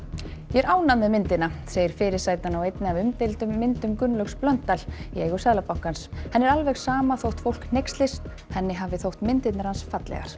ég er ánægð með myndina segir fyrirsætan á einni af umdeildum myndum Gunnlaugs Blöndal í eigu Seðlabankans henni er alveg sama þótt fólk hneykslist henni hafi alltaf þótt myndirnar hans fallegar